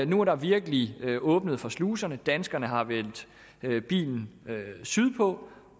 nu er der virkelig åbnet for sluserne danskerne har vendt bilen sydpå